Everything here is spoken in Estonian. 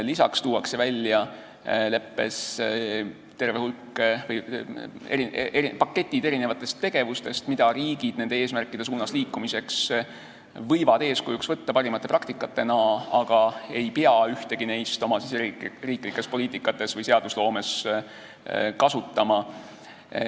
Lisaks tuuakse leppes välja tegevuste paketid, mida riigid nende eesmärkide suunas liikumisel võivad parimate praktikatena eeskujuks võtta, aga ühtegi neist ei pea oma riigisiseses poliitikas või seadusloomes kasutama.